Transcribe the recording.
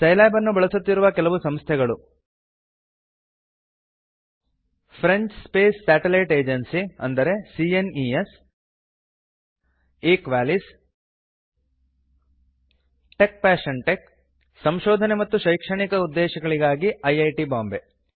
Scilab ನ್ನು ಬಳಸುತ್ತಿರುವ ಕೆಲವು ಸಂಸ್ಥೆಗಳು French Space Satellite Agency C N E S ಎಸ್ ಈಕ್ವಾಲಿಸ್ ಟೆಕ್ಪ್ಯಾಶನ್ಟ್ಕ್ ಮತ್ತು ಸಂಶೊಧನೆ ಮತ್ತು ಶೈಕ್ಶಣಿಕ ಉದ್ದೇಶಕ್ಕಾಗಿ ಐಐಟಿ ಬಾಂಬೆ